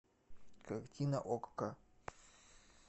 картина окко